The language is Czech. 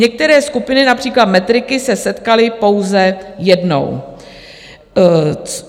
Některé skupiny, například matriky, se setkaly pouze jednou.